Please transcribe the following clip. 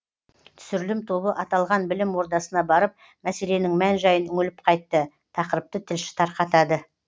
түсірілім тобы аталған білім ордасына барып мәселенің мән жайын үңіліп қайтты тақырыпты тілші тарқатады